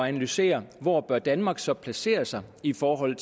analysere hvor danmark så bør placere sig i forhold